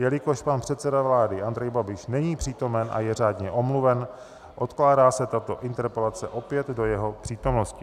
Jelikož pan předseda vlády Andrej Babiš není přítomen a je řádně omluven, odkládá se tato interpelace opět do jeho přítomnosti.